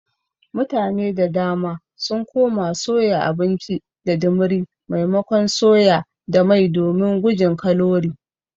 Mutane da dama sun koma soya abinci da dimiri maimakon soya da mai domin gujin kalori.